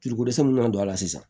Ciko dɛsɛ min na don a la sisan